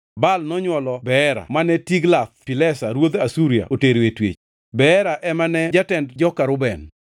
Baal nonywolo Beera mane Tiglath-Pilesa ruodh Asuria otero e twech. Beera ema ne jatend joka Reuben.